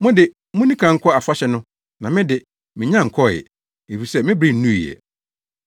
Mo de, munni kan nkɔ afahyɛ no na me de, minnya nkɔɔ ɛ, efisɛ me bere nnuu ɛ.”